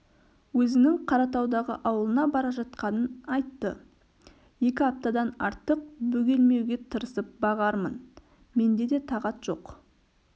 өзінің қаратаудағы ауылына бара жатқанын айтты екі аптадан артық бөгелмеуге тырысып бағармын менде де тағат жоқ